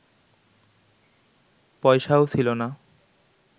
পয়সাও ছিল না